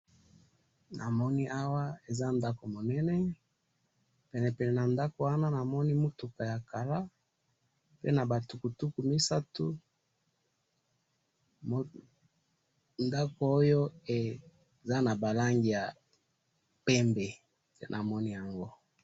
Namoni awa eza ndaku munene penepene na ndaku wana namoni mutuka ya kala pe naba tukutuku misatu ndaku oyo eza naba langi ya pembe nde namoni yango.